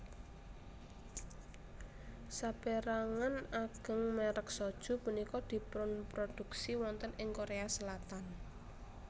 Sapérangan ageng mèrek soju punika dipunproduksi wonten ing Korea Selatan